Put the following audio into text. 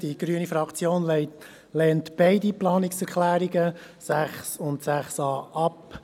Die grüne Fraktion lehnt die beiden Planungserklärungen 6 und 6a ab.